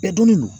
donni don